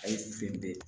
A ye sen be